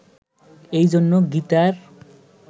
এই জন্য গীতার